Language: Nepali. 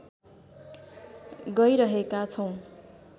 गैरहेका छौँ